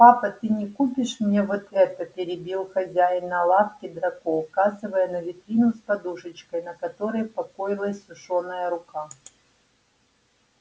папа ты не купишь мне вот это перебил хозяина лавки драко указывая на витрину с подушечкой на которой покоилась сушёная рука